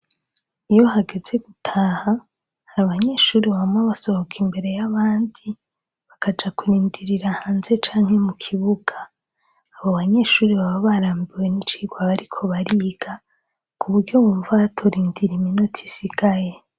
Iyo hageze gutaha, abanyeshure bama basohoka imbere y’abandi, bakaja kurindirira hanze canke mu kibuga. Abo banyeshure baba barambiwe n’icigwa bariko bariga ku buryo bumva batorindira iminota isigaye.